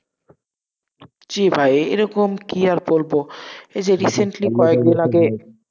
জি ভাই, এরকম কি আর বলবো, এই যে recently কয়েকদিন আগে,